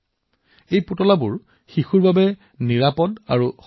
এইটোও বিশেষভাৱে মন কৰা হয় যে পুতলাবোৰ যাতে সুৰক্ষিত আৰু শিশু অনুকূল হয়